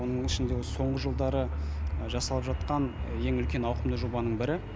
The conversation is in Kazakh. оның ішінде соңғы жылдары жасалып жатқан ең үлкен ауқымды жобаның бірі